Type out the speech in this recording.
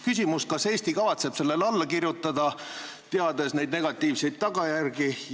Küsimus: kas Eesti kavatseb sellele alla kirjutada, teades neid negatiivseid tagajärgi?